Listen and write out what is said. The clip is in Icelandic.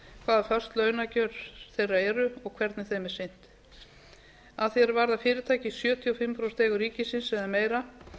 föst launakjör þeirra eru og hvernig þeim er sinnt að því er varðar fyrirtæki í sjötíu og fimm prósent eigu ríkisins eða meira